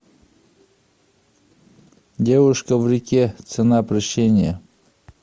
девушка в реке цена прощения